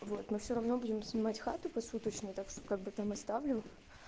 вот ну всё равно будем снимать хату посуточно так что как бы там оставлю